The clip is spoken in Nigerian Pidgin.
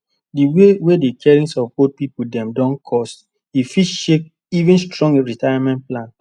the way wey the caring of old pipu dem don coste fit shake even strong retirement plan